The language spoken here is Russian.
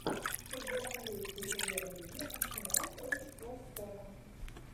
футбол английской премьер лиги арсенал против вест хэма